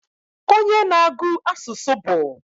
Onye na-agu asusu bu?